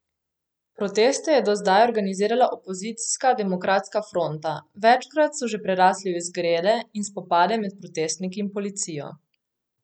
Proteste je do zdaj organizirala opozicijska Demokratska fronta, večkrat so že prerasli v izgrede in spopade med protestniki in policijo.